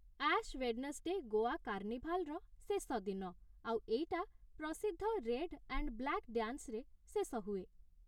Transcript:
Ash Wednesday' Goa କାର୍ଣ୍ଣିଭାଲ୍‌ର ଶେଷ ଦିନ, ଆଉ ଏଇଟା ପ୍ରସିଦ୍ଧ ରେଡ୍ ଆଣ୍ଡ୍ ବ୍ଲାକ୍ ଡ୍ୟାନ୍ସରେ ଶେଷ ହୁଏ ।